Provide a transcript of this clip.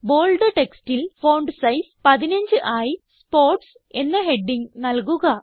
bold textൽ font size 15 ആയി sports എന്ന ഹെഡിംഗ് നല്കുക